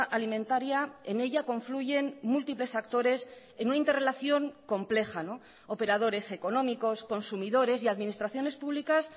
alimentaria en ella confluyen múltiples actores en una interrelación compleja operadores económicos consumidores y administraciones públicas